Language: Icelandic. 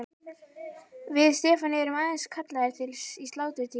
Við Stefán erum aðeins kallaðir til í sláturtíð.